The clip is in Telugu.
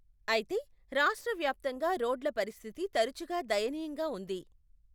అయితే, రాష్ట్రవ్యాప్తంగా రోడ్ల పరిస్థితి తరచుగా దయనీయంగా ఉంది.